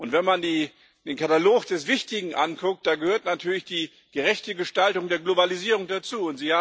Wenn man den Katalog des Wichtigen anguckt, da gehört natürlich die gerechte Gestaltung der Globalisierung dazu.